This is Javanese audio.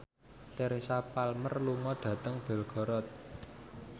Teresa Palmer lunga dhateng Belgorod